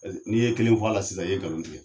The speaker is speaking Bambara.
N'i ye kelen fɔ la sisan i ye ngalon tigɛ.